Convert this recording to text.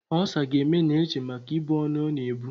Olsa ga-eme Neche maka ibu ọnụ ọ na-ebu.